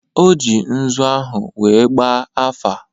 O ji nzu ahụ wee gbaa afa.